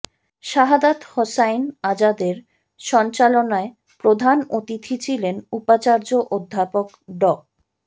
শাহাদাৎ হোসাইন আজাদের সঞ্চালনায় প্রধান অতিথি ছিলেন উপাচার্য অধ্যাপক ড